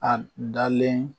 A dalen